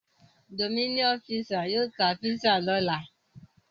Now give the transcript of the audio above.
Domino's pizza yóò ta pizza lọ́la.